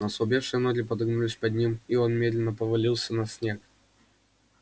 но ослабевшие ноги подогнулись под ним и он медленно повалился на снег